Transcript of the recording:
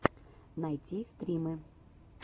найти стримы